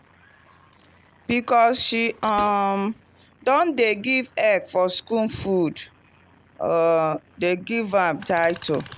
because she um don dey give egg for school food um dem give am title.